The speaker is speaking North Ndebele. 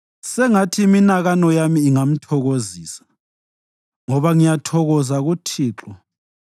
Sengathi iminakano yami ingamthokozisa, ngoba ngiyathokoza kuThixo.